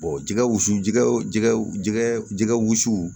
jɛgɛ wusu jɛgɛwula jɛgɛ wusu